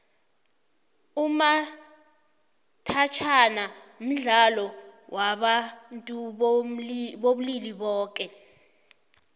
umathajhana mdlalo wabantu bobulili boke